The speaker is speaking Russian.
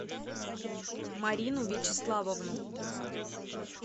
марину вячеславовну